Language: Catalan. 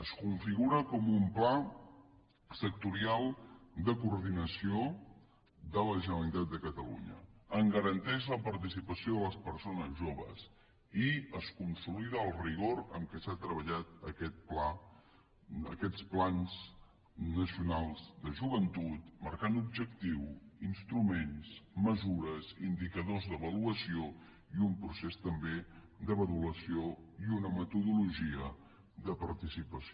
es configura com un pla sectorial de coordinació de la generalitat de catalunya en garanteix la participació de les persones joves i es consolida el rigor amb què s’ha treballat aquest pla aquests plans nacionals de joventut marcant objectiu instruments mesures indicadors d’avaluació i un procés també de valoració i una metodologia de participació